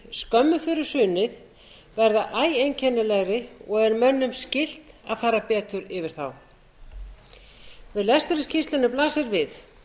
skömmu fyrir hrunið verða æ einkennilegri og er mönnum skylt að fara betur færð þá við lestur á skýrslunni blasir við